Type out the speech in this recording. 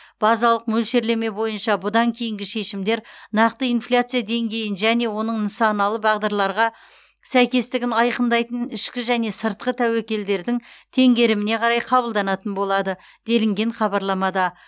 базалық мөлшерлеме бойынша бұдан кейінгі шешімдер нақты инфляция деңгейін және оның нысаналы бағдарларға сәйкестігін айқындайтын ішкі және сыртқы тәуекелдердің теңгеріміне қарай қабылданатын болады делінген хабарламада